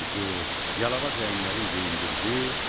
Yalavac əyinlərin geyindirdi.